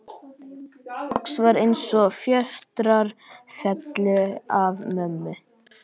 Loks var eins og fjötrar féllu af mömmu.